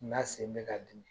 N'a sen bɛ ka dimi